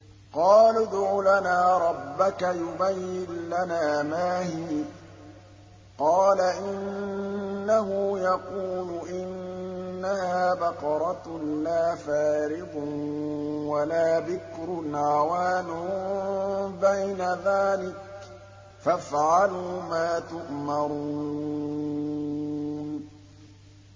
قَالُوا ادْعُ لَنَا رَبَّكَ يُبَيِّن لَّنَا مَا هِيَ ۚ قَالَ إِنَّهُ يَقُولُ إِنَّهَا بَقَرَةٌ لَّا فَارِضٌ وَلَا بِكْرٌ عَوَانٌ بَيْنَ ذَٰلِكَ ۖ فَافْعَلُوا مَا تُؤْمَرُونَ